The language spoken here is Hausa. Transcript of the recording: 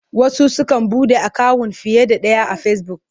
Wasu sukan buɗe akawun fiye da ɗaya a Fesibuk.